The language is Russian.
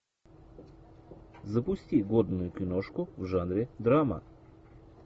запусти годную киношку в жанре драма